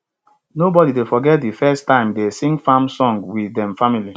nobody dey forget de first time dey sing farm song with dem family